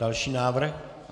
Další návrh?